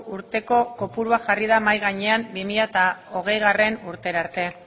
urteko kopurua jarri da mahai gainean bi mila hogeigarrena urterarte